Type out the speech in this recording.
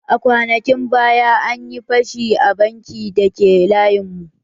Kwanakin baya, an yi fashi a bankin da ke layin mu